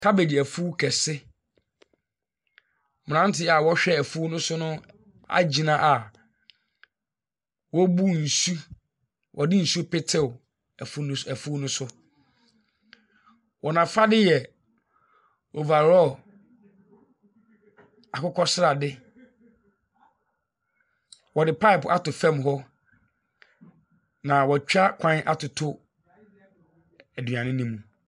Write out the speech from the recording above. Cabbage ɛfu kɛse. Mmranteɛ a ɔhwɛ ɛfuo no so no ɛgyina a ɔrebu nsu, ɔde nsu petew ɛfu ɛfu ne so. Wɔn afade yɛ overall akokɔ srade. Ɔde pipe ato fam hɔ na wɛtwa kwan ato aduane no mu.